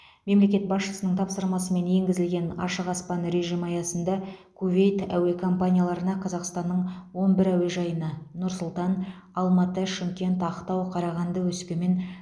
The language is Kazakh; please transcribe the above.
мемлекет басшысының тапсырмасымен енгізілген ашық аспан режимі аясында кувейт әуе компанияларына қазақстанның он әуежайына нұр сұлтан алматы шымкент ақтау қарағанды өскемен